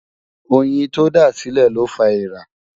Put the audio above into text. óyìn tó dá sílè ló fá ẹẹ̀rà